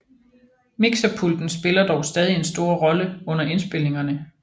Mikserpulten spiller dog stadig en stor rolle under indspilningerne